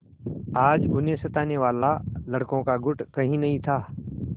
आज उन्हें सताने वाला लड़कों का गुट कहीं नहीं था